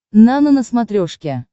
нано на смотрешке